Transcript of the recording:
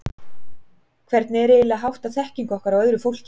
Hvernig er eiginlega háttað þekkingu okkar á öðru fólki?